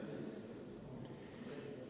Aitäh!